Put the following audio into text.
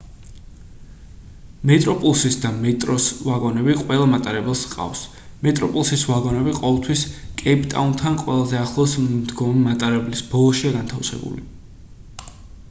მეტროპლუსის და მეტროს ვაგონები ყველა მატარებელს ჰყავს მეტროპლუსის ვაგონები ყოველთვის კეიპტაუნთან ყველაზე ახლოს მდგომი მატარებლის ბოლოშია განთავსებული